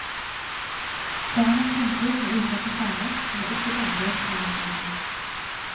Foran en fremtid med ukjente farer kan vi ikke berge oss med nostalgi.